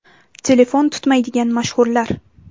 Telefon tutmaydigan mashhurlar.